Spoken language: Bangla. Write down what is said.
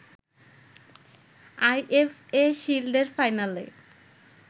আইএফএ শিল্ডের ফাইনালে